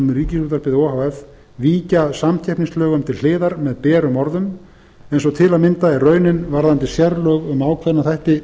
um ríkisútvarpið o h f víkja samkeppnislögum til hliðar með berum orðum eins og til að mynda er raunin varðandi sérlög um ákveðna þætti